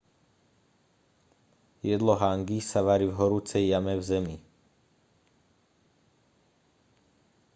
jedlo hangi sa varí v horúcej jame v zemi